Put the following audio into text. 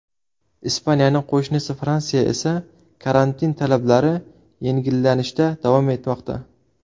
Ispaniyaning qo‘shnisi Fransiyada esa karantin talablari yengillanishda davom etmoqda.